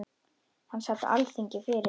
Hann sat á Alþingi fyrir